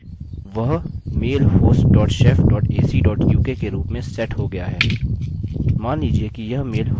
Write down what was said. अतः यह मुझे बताता है कि वह mail host dot shef dot ac dot uk के रूप में सेट हो गया है